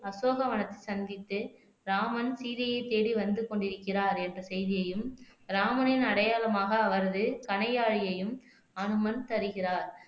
அசோக வனத்தில் சந்தித்து ராமன் சீதையைத் தேடி வந்து கொண்டிருக்கிறார் என்ற செய்தியையும் ராமனின் அடையாளமாக அவரது கணையாளியையும் அனுமன் தருகிறார்